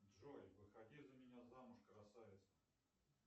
джой выходи за меня замуж красавица